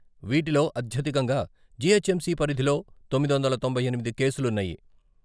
వీటిలో అత్యధికంగా జీహెచ్ఎంసీ పరిధిలో తొమ్మిది వందల తొంభై ఎనిమిది కేసులున్నాయి.